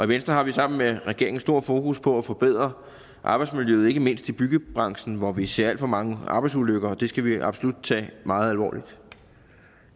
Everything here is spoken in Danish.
venstre har vi sammen med regeringen stort fokus på at forbedre arbejdsmiljøet ikke mindst i byggebranchen hvor vi ser alt for mange arbejdsulykker og det skal vi absolut tage meget alvorligt